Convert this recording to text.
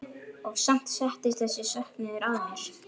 Og samt settist þessi söknuður að mér.